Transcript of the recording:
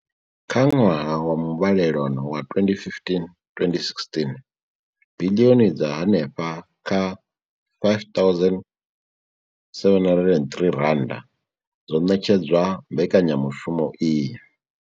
Kha ṅwaha wa muvhalelano wa 2015,2016, biḽioni dza henefha kha R5 703 dzo ṋetshedzwa mbekanya mushumo iyi.